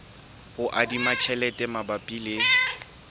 ho adima tjhelete mabapi le